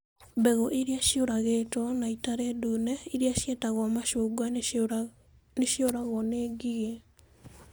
Mbegũ iria ciarugĩtwo na itarĩ ndune, iria ciĩtagwo macungwa, nĩ ciũragwo nĩ ngigĩ.